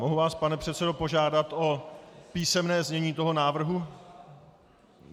Mohu vás, pane předsedo, požádat o písemné znění toho návrhu?